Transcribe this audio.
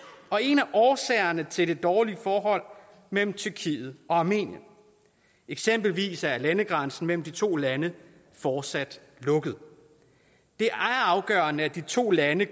og en af årsagerne til det dårlige forhold mellem tyrkiet og armenien eksempelvis er landegrænsen mellem de to lande fortsat lukket det er afgørende at de to lande